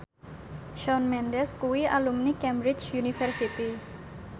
Shawn Mendes kuwi alumni Cambridge University